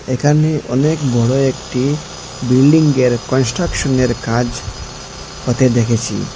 একানে অনেক বড় একটি বিল্ডিংয়ের কনস্ট্রাকশনের কাজ হতে দেখেছি।